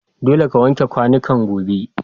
Dolle ka wanke kwanukan gobe.